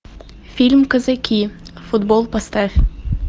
фильм казаки футбол поставь